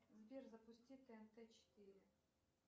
сбер запусти тнт четыре